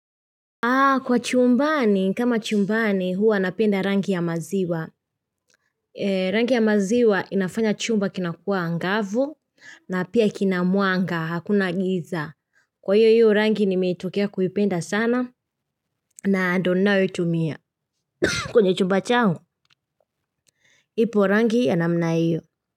Kwa chumbani, kama chumbani huwa napenda rangi ya maziwa. Rangi ya maziwa inafanya chumba kinakuwa angavu na pia kina mwanga hakuna giza. Kwa hiyo hiyo rangi nimetokea kuipenda sana na ndio ninayoitumia. Kwenye chumba changu. Ipo rangi ya namna hiyo.